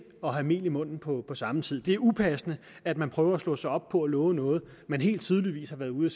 og have mel i munden på samme tid det er upassende at man prøver at slå sig op på at love noget man helt tydeligt har været ude